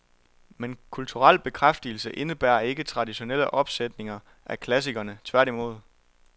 Men kulturel bekræftelse indebærer ikke traditionelle opsætninger af klassikerne, tværtimod.